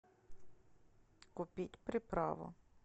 купить приправу